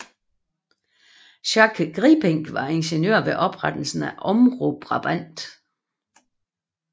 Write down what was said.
Jacques Grijpink var direktør ved oprettelsen af Omroep Brabant